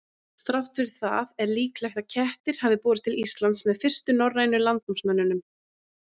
Þrátt fyrir það er líklegt að kettir hafi borist til Íslands með fyrstu norrænu landnámsmönnunum.